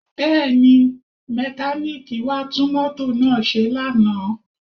Bẹ́ẹ̀ni, mẹkáníìkì wá tún mọ́tò náà ṣe lánàá